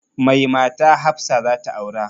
Mai mata hafsa zata aura